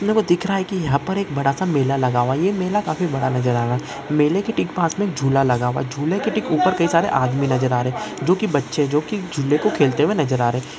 दिख रहा है कि यहाँ पर एक बड़ा- सा मेला लगा हुआ है ये मेला काफी बड़ा नज़र आ रहा है मेले के ठीक पास में एक झूला लगा हुआ है झूले के ठीक ऊपर कई सारे आदमी नज़र आ रहे जो कि बच्चे जो कि झूले को खेलते हुए नज़र आ रहे--